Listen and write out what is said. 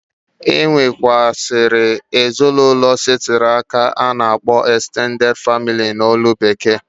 E nwekwuasiri ezinụlọ setiri aka a na akpọ extenteded family n'olu bekee.